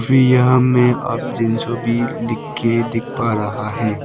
यहां में अप जेंसो लिख के दिख पा रहा है।